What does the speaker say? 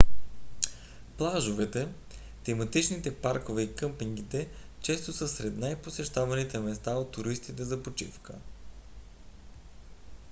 плажовете тематичните паркове и къмпингите често са най-посещаваните места от туристите за почивка